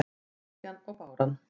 Bylgjan og báran